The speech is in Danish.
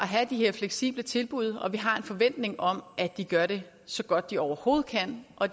have de her fleksible tilbud og vi har en forventning om at de gør det så godt de overhovedet kan og